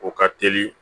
O ka teli